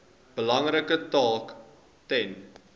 belangrike taak ten